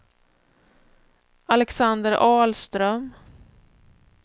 Alexander Ahlström